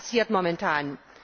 Das passiert momentan.